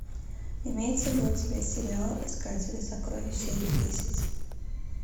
имеется ли у тебя сериал искатели сокровищ серия десять